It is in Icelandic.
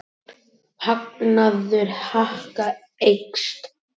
Hagnaður Haga eykst